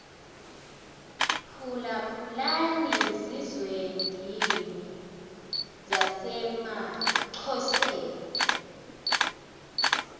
phulaphulani zizwendini zasemaxhoseni